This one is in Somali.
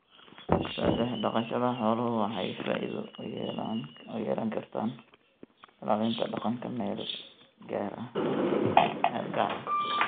Saddex, dhaqashada xooluhu waxay faa'iido u yeelan kartaa ilaalinta dhaqanka meel gaar ah.